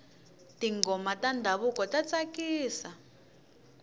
tinghoma ta ndhavuko ta tsakisa